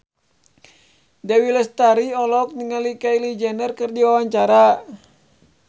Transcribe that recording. Dewi Lestari olohok ningali Kylie Jenner keur diwawancara